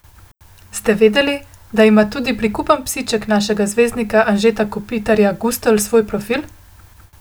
Ste vedeli, da ima tudi prikupen psiček našega zvezdnika Anžeta Kopitarja Gustl svoj profil?